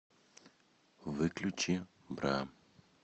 выключи бра